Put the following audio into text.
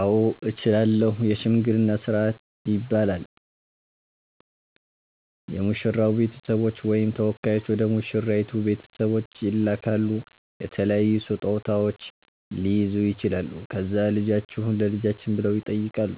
አዎ እችላለሁ የሽምግልና ስርአት ይባላል የሙሽራዉ ቤተሰቦች ወይም ተወካዮች ወደ ሙሽራይቱ ቤተሰቦች ይላካሉ የተለያዩ ስጦታዉች ሊይዙ ይችላሉ ከዛ ልጃችሁን ለልጃችን ብለዉ ይጠይቃሉ